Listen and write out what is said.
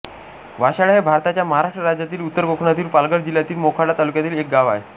वाशाळा हे भारताच्या महाराष्ट्र राज्यातील उत्तर कोकणातील पालघर जिल्ह्यातील मोखाडा तालुक्यातील एक गाव आहे